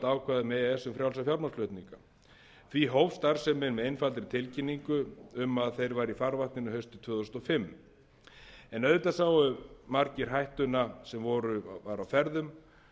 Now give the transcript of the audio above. um frjálsa fjármagnsflutninga því hófst starfsemin með einfaldri tilkynningu um að þeir væru í farvatninu haustið tvö þúsund og fimm en auðvitað sáu margir hættuna sem var á ferðum